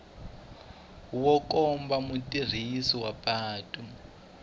wu komba mutirhisi wa patu